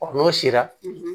Ɔ n'o sera